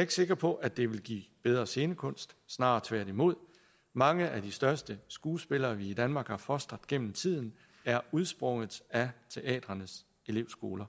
ikke sikker på at det vil give bedre scenekunst snarere tværtimod mange af de største skuespillere vi i danmark har fostret gennem tiden er udsprunget af teatrenes elevskoler